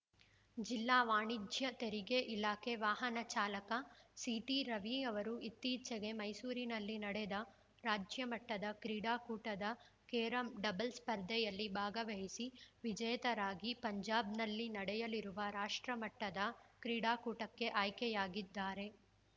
ಜಿಲ್ಲಾ ವಾಣಿಜ್ಯ ತೆರಿಗೆ ಇಲಾಖೆ ವಾಹನ ಚಾಲಕ ಸಿಟಿ ರವಿ ಅವರು ಇತ್ತೀಚೆಗೆ ಮೈಸೂರಿನಲ್ಲಿ ನಡೆದ ರಾಜ್ಯಮಟ್ಟದ ಕ್ರೀಡಾಕೂಟದ ಕೇರಂ ಡಬಲ್ಸ್ ಸ್ಪರ್ಧೆಯಲ್ಲಿ ಭಾಗವಹಿಸಿ ವಿಜೇತರಾಗಿ ಪಂಜಾಬ್‌ನಲ್ಲಿ ನಡೆಯಲಿರುವ ರಾಷ್ಟ್ರಮಟ್ಟದ ಕ್ರೀಡಾಕೂಟಕ್ಕೆ ಆಯ್ಕೆಯಾಗಿದ್ದಾರೆ